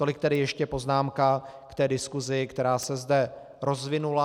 Tolik tedy ještě poznámka k té diskusi, která se zde rozvinula.